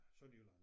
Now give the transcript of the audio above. Sønderjylland